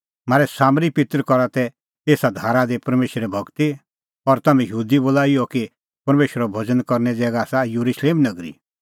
म्हारै सामरी पित्तर करा तै एसा धारा दी परमेशरे भगती और तम्हैं यहूदी बोला इहअ कि परमेशरे भज़न करने ज़ैगा आसा येरुशलेम नगरी